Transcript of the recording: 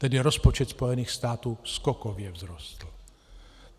Tedy rozpočet Spojených států skokově vzrostl.